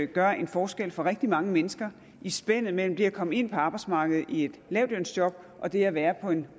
gør en forskel for rigtig mange mennesker i spændet mellem det at komme ind på arbejdsmarkedet i et lavtlønsjob og det at være på